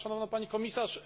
Szanowna Pani Komisarz!